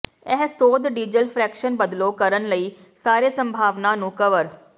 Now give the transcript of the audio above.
ਇਹ ਸੋਧ diesel fraction ਬਦਲੋ ਕਰਨ ਲਈ ਸਾਰੇ ਸੰਭਾਵਨਾ ਨੂੰ ਕਵਰ